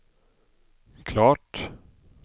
klart